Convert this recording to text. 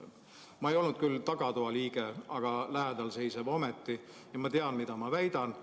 Ma ei olnud küll tagatoa liige, aga lähedal seisev ometi, ja ma tean, mida ma väidan.